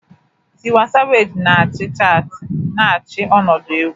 Tiwa Savage na-achị chaatị, na-achị ọnọdụ egwu.